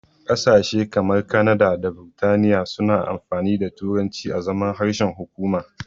Ƙasashe kamar Kanada da Biritaniya suna amfani da turanci azaman harshen hukuma.